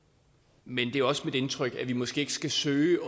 men det er også mit indtryk at vi måske ikke skal søge